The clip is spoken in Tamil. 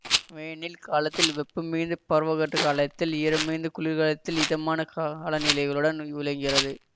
வேனில் காலத்தில் வெப்பம் மிகுந்து பருவக்காற்றுக் காலத்தில் ஈரமிகுந்து குளிர்காலத்தில் இதமான காலநிலைகளுடன் விளங்குகிறது